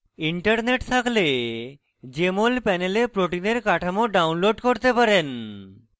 internet থাকলে jmol panel protein কাঠামো download করতে পারেন